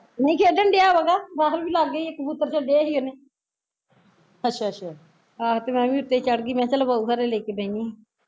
ਨਹੀਂ ਖੇਡਣ ਡਿਆ ਵਾ ਲੱਗ ਗਿਆ ਸਿ ਕਬੂਤਰ ਛੱਡੇ ਸੀ ਉਹਨੇ ਆਹੋ ਤੇ ਮੈਂ ਵੀ ਉੱਤੇ ਹੀਂ ਚੜ ਗਈ ਮੈਂ ਕਿਹਾ ਬਹੁ ਘਰੇ ਲੈ ਕੇ ਬਹਿਦੀ ਆ